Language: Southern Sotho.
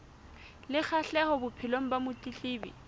le kgahleho bophelong ba motletlebi